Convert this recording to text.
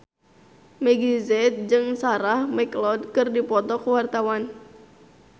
Meggie Z jeung Sarah McLeod keur dipoto ku wartawan